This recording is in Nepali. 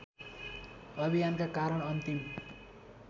अभियानका कारण अन्तिम